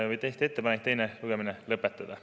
Tehti ettepanek teine lugemine lõpetada.